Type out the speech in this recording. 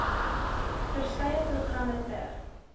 verskeie programme ter